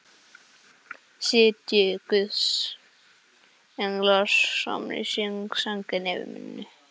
Sitji guðs englar saman í hring, sænginni yfir minni.